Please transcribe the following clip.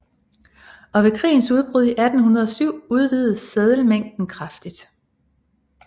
Og ved krigens udbrud i 1807 udvidedes seddelmængden kraftigt